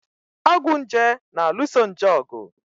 Ọgwụ nje na-alụso nje ọgụ.